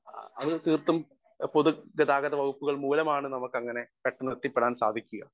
Speaker 1 അത് തീർത്തും പൊതു ഗതാഗത വകുപ്പുകൾ മൂലമാണ് നമ്മുക്കങ്ങനെ പെട്ടന്നെത്തിപ്പെടാൻ സാധിക്കുക.